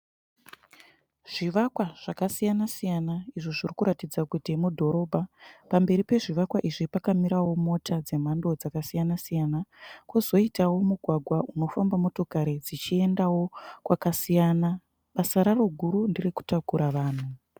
Zvivakawa zvakasiyana siyana izvo zviri kuratidza kuti mudhorobha, pamberi pezvivakwa izvi pakamirawo mota dzemhando dzakasiyana siyana kozoitawo mugwagwa unofamba motokari dzichiendawo kwakasiyana basa raro guru nderekutakura vanhu.